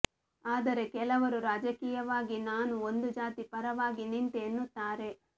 ಆದರೆ ಕೆಲವರು ರಾಜಕೀಯವಾಗಿ ನಾನು ಒಂದು ಜಾತಿ ಪರವಾಗಿ ನಿಂತೆ ಎನ್ನುತ್ತಾರೆ